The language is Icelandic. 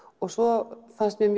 svo fannst mér